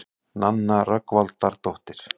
Nanna Rögnvaldardóttir.